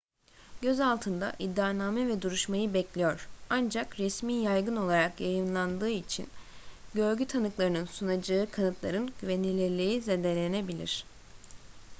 gözaltında iddianame ve duruşmayı bekliyor ancak resmi yaygın olarak yayımlandığı için görgü tanıklarının sunacağı kanıtların güvenilirliği zedelenebilir